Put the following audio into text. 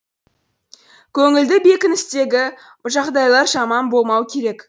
көңілді бекіністегі жағдайлар жаман болмау керек